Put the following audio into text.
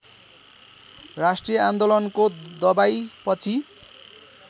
राष्ट्रिय आन्दोलनको दबाइएपछि